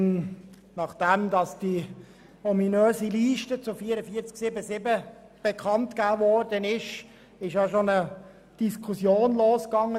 Nachdem die ominöse Liste betreffend 44.7.7 bekanntgegeben wurde, ging bereits eine Diskussion los.